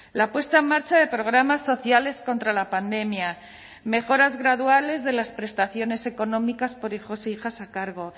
la puesta en marcha de programas sociales contra la pandemia mejoras graduales de las prestaciones económicas por hijos e hijas a cargo